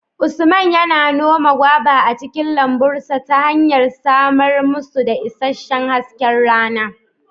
Usman yana noma goba a cikin lambun sa ta hanyar samar musu da isasshen hasken rana